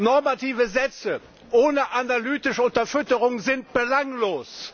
Normative Sätze ohne analytische Unterfütterung sind belanglos.